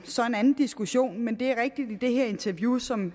så en anden diskussion men det er rigtigt at i det her interview som